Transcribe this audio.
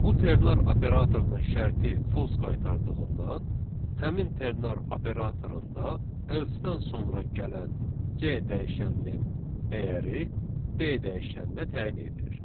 Bu ternar operatorunun şərti false qaytardığından, həmin ternar operatorunda elsedən sonra gələn C dəyişəninin dəyəri D dəyişəninə təyin edilir.